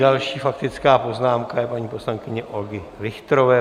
Další faktická poznámka je paní poslankyně Olgy Richterové.